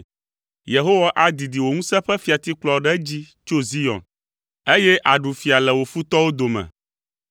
Yehowa adidi wò ŋusẽ ƒe fiatikplɔ ɖe edzi tso Zion, eye àɖu fia le wò futɔwo dome.